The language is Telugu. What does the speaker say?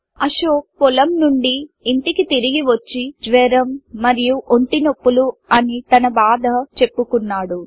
అశోక్ పొలం నుండి ఇంటికి తిరిగి వచ్చి జ్వరం మరియు ఒంటి నొప్పులు అని తన బాధ చెప్పుకున్నాడు